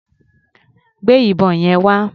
Gbé ìbọn yẹn wá.